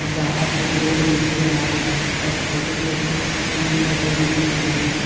बाहर एक रोड भी दिख रहा है और छोटे छोटे पेड़ पौधे भी दिख रहे हैं।